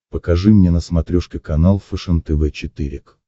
покажи мне на смотрешке канал фэшен тв четыре к